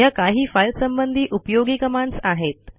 ह्या काही फाईल संबंधी उपयोगी कमांडस आहेत